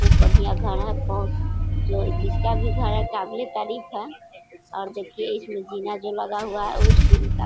बढ़िया घर है और जो जिसका भी घर है काबिले तारीफ है और देखिए इसमें जीना जो लगा हुआ है उस सीन का--